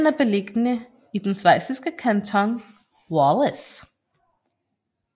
Den er beliggende i den schweiziske kanton Wallis